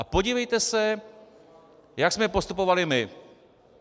A podívejte se, jak jsme postupovali my.